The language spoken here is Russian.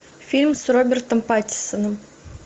фильм с робертом паттинсоном